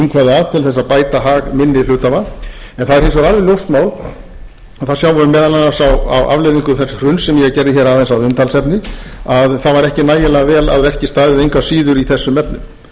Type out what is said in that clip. afleiðingum þess hruns sem ég gerði hér aðeins að umtalsefni að það var ekki nægilega vel að verki staðið engu að síður í þessum efnum það er líka ástæða